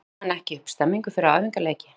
Ná menn ekki upp stemningu fyrir æfingaleiki?